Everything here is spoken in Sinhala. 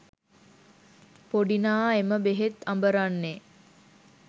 පොඩිනා එම බෙහෙත් අඹරන්නේ